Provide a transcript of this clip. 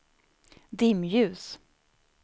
dimljus